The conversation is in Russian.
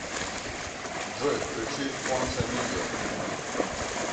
джой включи онса медиа